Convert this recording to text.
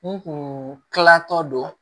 N kun kilan tɔ don